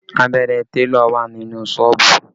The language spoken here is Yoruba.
Abẹ́rẹ́ télọ̀ wà ní inú Ṣọ́ọ̀bù